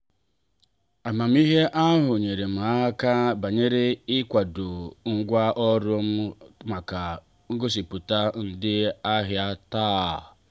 amamihe ahụ nyeere m aka bawanye ị kwado ngwa ọrụ m maka ngosiputa ndị ahịa taa.